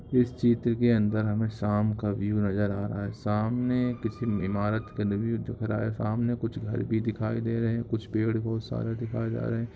इस चित्र के अंदर हमें शाम का व्यू नजर आ रहा है। सामने किसी म इमारत का नि-व्यु दिख रहा है सामने कुछ घर भी दिखाई दे रहे हैं कुछ पेड़ बहुत सारे दिखाए जा रहे हैं।